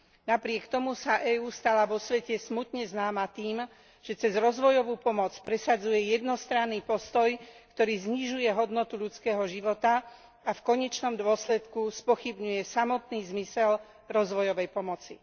Napriek tomu sa EÚ stala vo svete smutne známa tým, že cez rozvojovú pomoc presadzuje jednostranný postoj, ktorý znižuje hodnotu ľudského života a v konečnom dôsledku spochybňuje samotný zmysel rozvojovej pomoci.